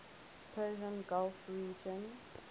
persian gulf region